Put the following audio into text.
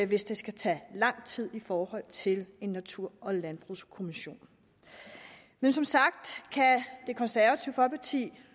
hvis det skal tage lang tid i forhold til en natur og landbrugskommission men som sagt kan det konservative folkeparti